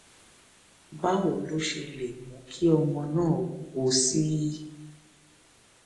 báwo lo ṣe lè mú kí ọmọ náà wúwo sí i